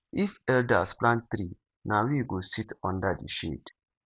if elders plant tree na we go sit under the shade